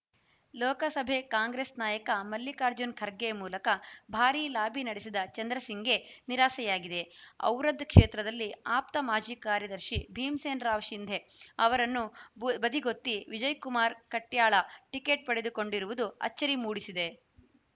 ಲೋಕಸಭೆ ಕಾಂಗ್ರೆಸ್‌ ನಾಯಕ ಮಲ್ಲಿಕಾರ್ಜುನ್‌ ಖರ್ಗೆ ಮೂಲಕ ಭಾರೀ ಲಾಬಿ ನಡೆಸಿದ ಚಂದ್ರಸಿಂಗ್‌ಗೆ ನಿರಾಸೆಯಾಗಿದೆ ಔರಾದ್‌ ಕ್ಷೇತ್ರದಲ್ಲಿ ಆಪ್ತ ಮಾಜಿ ಕಾರ್ಯದರ್ಶಿ ಭೀಮಸೇನರಾವ್‌ ಸಿಂಧೆ ಅವರನ್ನು ಬದಿಗೊತ್ತಿ ವಿಜಯಕುಮಾರ ಕಡ್ಯಾಳ ಟಿಕೆಟ್‌ ಪಡೆದುಕೊಂಡಿರುವುದು ಆಚ್ಚರಿ ಮೂಡಿಸಿದೆ